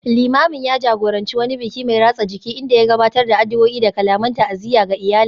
Limamin ya jagoranci wani biki mai ratsa jiki, inda ya gabatar da addu’o’i da kalaman ta’aziyya ga iyalin